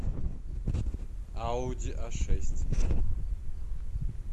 ауди а шесть